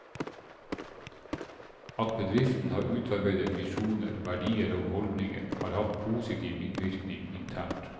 At bedriften har utarbeidet visjoner, verdier og holdninger, har hatt positiv innvirkning internt.